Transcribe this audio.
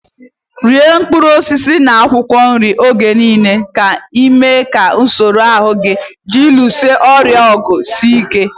Iri mkpụrụ osisi na akwụkwọ nri oge niile na-eme ka usoro ahụ ji alụso ọrịa ọgụ sie ike.